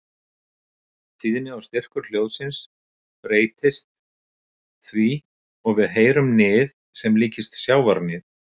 Tíðni og styrkur hljóðsins breytist því og við heyrum nið sem líkist sjávarnið.